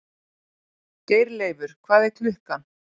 Geirleifur, hvað er klukkan?